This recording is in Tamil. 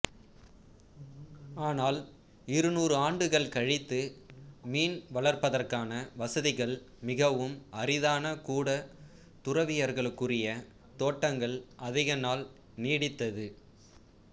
ஆனால் இருநூறு ஆண்டுகள் கழித்து மீன் வளர்ப்பதற்கான வசதிகள் மிகவும் அரிதான கூட துறவியர்களுக்குரிய தோட்டங்கள் அதிக நாள் நீடித்தது